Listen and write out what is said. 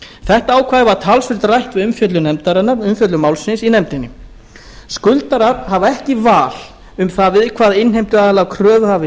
þetta ákvæði var talsvert rætt við umfjöllun málsins í nefndinni skuldarar hafa ekki val um það við hvaða innheimtuaðila kröfuhafi